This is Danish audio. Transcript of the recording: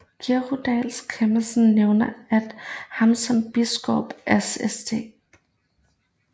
Giraldus Cambrensis nævner ham som biskop af St